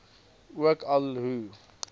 ook al hoe